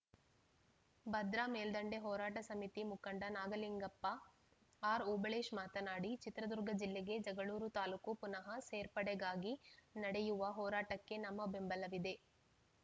ಭದ್ರಾ ಮೇಲ್ದಂಡೆ ಹೋರಾಟ ಸಮಿತಿ ಮುಖಂಡ ನಾಗಲಿಂಗಪ್ಪ ಆರ್‌ಓಬಳೇಶ್‌ ಮಾತನಾಡಿ ಚಿತ್ರದುರ್ಗ ಜಿಲ್ಲೆಗೆ ಜಗಳೂರು ತಾಲೂಕು ಪುನಃ ಸೇರ್ಪಡೆಗಾಗಿ ನಡೆಯುವ ಹೋರಾಟಕ್ಕೆ ನಮ್ಮ ಬೆಂಬಲವಿದೆ